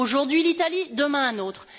Aujourd'hui l'Italie, demain un autre.